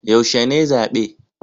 Yaushe ne zabe?